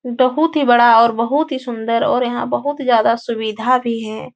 बहुत ही बड़ा और बहुत ही सुन्दर और यहाँ बहुत ज्यादा सुविधा भी है।